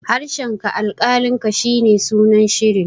harshenka alkalinka shi ne sunan shirin